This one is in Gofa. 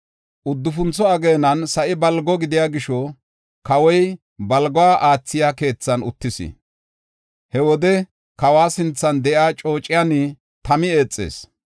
Uddufuntho ageenan sa7i balgo gidiya gisho, kawoy balguwa aathiya keethan uttis. He wode kawa sinthan de7iya coociyan Tami eexees.